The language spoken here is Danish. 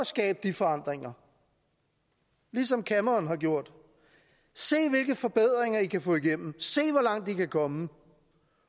skabe de forandringer ligesom cameron har gjort se hvilke forbedringer i kan få igennem se hvor langt i kan komme